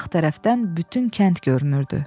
Sağ tərəfdən bütün kənd görünürdü.